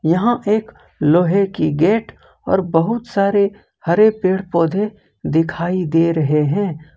यहां एक लोहे की गेट और बहुत सारे हरे पेड़ पौधे दिखाई दे रहे हैं।